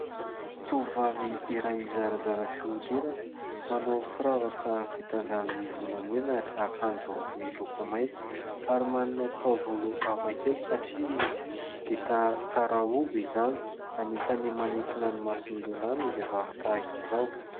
Tovovavy iray zarazara fihodirana manao firavaka vita avy amin'ny volamena ry akanjo miloko mainty ary manana taovolo hafakely satria vita tsara hogo izany, anisany manintona ny masony lehilahy ny vehivavy tahaka izao.